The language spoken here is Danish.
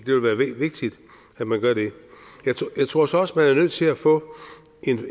det vil være vigtigt at man gør det jeg tror så også er nødt til at få